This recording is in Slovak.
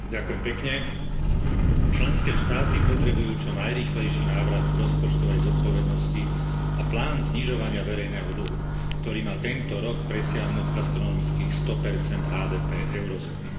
Vážená pani predsedajúca, členské štáty potrebujú čo najrýchlejší návrat k rozpočtovej zodpovednosti a plán znižovania verejného dlhu, ktorý má tento rok presiahnuť astronomických 100 HDP eurozóny.